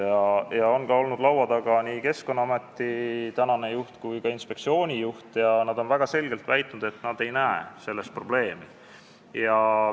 Laua taga on olnud nii Keskkonnaameti juht kui ka Keskkonnainspektsiooni juht ja nad on väga selgelt väitnud, et nad ei näe selles probleemi.